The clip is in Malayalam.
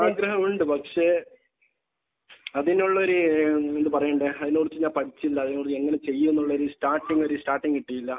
ആഗ്രഹമുണ്ട്. പക്ഷെ അതിനുള്ള ഒരു ഏഹ് എന്താ പറയണ്ടേ. അതിനുള്ള ഇത് ഞാൻ പഠിച്ചിട്ടില്ല. അത് എങ്ങനെ ചെയ്യുമെന്നുള്ളൊരു സ്റ്റാർട്ടിങ്ങ് ഒരു സ്റ്റാർട്ടിങ്ങ് കിട്ടിയില്ല.